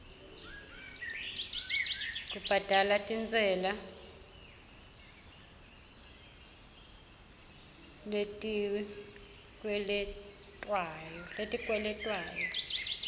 kubhadala tintsela letikweletwako